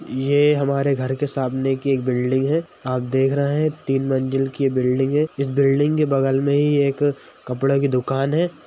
ये हमारे घर के सामने की एक बिल्डिंग है आप देख रहे हैं तीन मंजिल की यह बिल्डिंग है इस बिल्डिंग के बगल में ही एक कपड़े की दुकान है।